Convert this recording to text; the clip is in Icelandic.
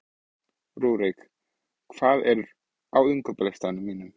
Rúrik, hvað er á innkaupalistanum mínum?